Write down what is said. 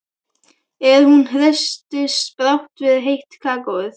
En hún hresstist brátt við heitt kakóið.